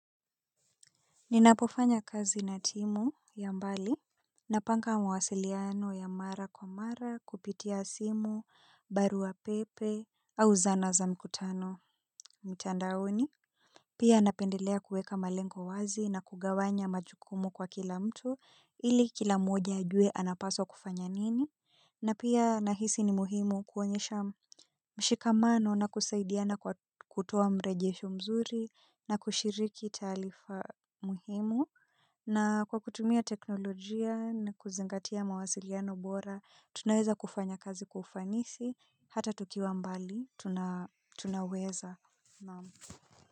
Ninapofanya kazi na timu ya mbali napanga masiliano ya mara kwa mara kupitia simu, barua pepe, au zana za mkutano mtandaoni. Pia napendelea kuweka malengo wazi na kugawanya majukumu kwa kila mtu ili kila moja ajue anapaswa kufanya nini. Na pia nahisi ni muhimu kuonyesha mshikamano na kusaidiana kwa kutoa mrejesho mzuri na kushiriki taarifa muhimu. Na kwa kutumia teknolojia na kuzingatia mawasiliano bora, tunaweza kufanya kazi kwa ufanisi, hata tukiwa mbali, tunaweza naam.